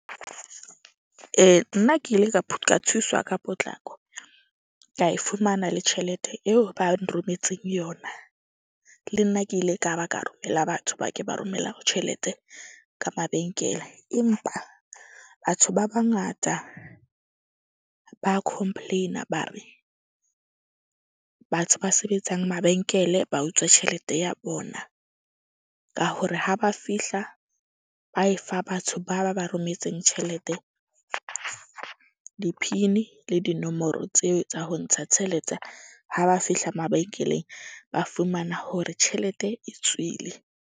Ee, nna ke ile ka thuswa ka potlako ka e fumana le tjhelete eo ba nrometseng yona. Le nna ke ile ka ba ka romela batho ba ke ba romela tjhelete ka mabenkele. Empa batho ba bangata ba complain-a ba re, batho ba sebetsang mabenkele ba utswa tjhelete ya bona. Ka hore ha ba fihla ba e fa batho ba ba ba rometseng tjhelete di-PIN-i le dinomoro tseo tsa ho ntsha tsheletse. Ha ba fihla mabenkeleng, ba fumana hore tjhelete e tswile.